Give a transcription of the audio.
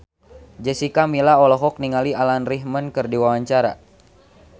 Jessica Milla olohok ningali Alan Rickman keur diwawancara